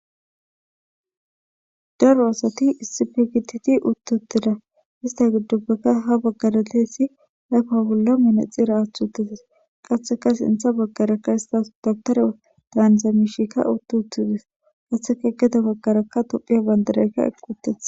Daro asati issippe gididi utti uttida ista giddopekka ha baggara diyayssi ayfa bolla manaxxira aathi uttides qasseka sintha baggarakka istas daptare daaniza miishikka utti uttides hessappe gede baggarakka tophiya bandiraykka eqqi uttides.